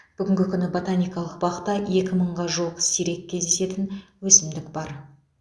бүгінгі күні ботаникалық бақта екі мыңға жуық сирек кездесетін өсімдік бар